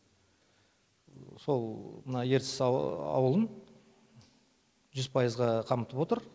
сол мына ертіс ауылын жүз пайызға қамтып отыр